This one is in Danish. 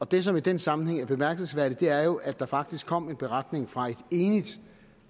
det som i den sammenhæng er bemærkelsesværdigt er jo at der faktisk kom en beretning fra et enigt